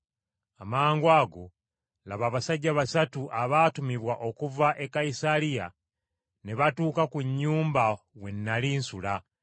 “Amangwago laba abasajja basatu abaatumibwa okuva e Kayisaliya ne batuuka ku nnyumba we nnali nsula!